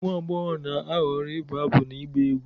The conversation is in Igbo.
ụmụ agbọghọ na-ahọrọ ịbụ abụ na ịgba egwu